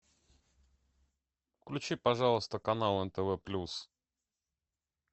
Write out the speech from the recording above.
включи пожалуйста канал нтв плюс